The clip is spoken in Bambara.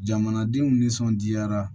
Jamanadenw nisɔndiyara